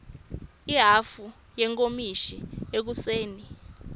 ihhafu yenkomishi ekuseni